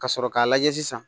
Ka sɔrɔ k'a lajɛ sisan